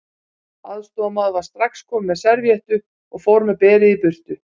Aðstoðarmaður var strax komin með servíettu og fór með berið í burtu.